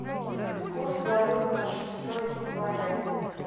курс валют на шестое января